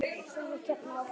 Horfa hérna framhjá!